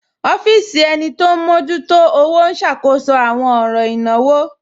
Ọfisi ènì tí o n mọjútò ọwọ̀ n ṣákóṣọ̀ awọn ọ̀ràn ìnáwò.